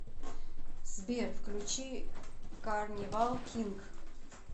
сбер включи карнивал кинг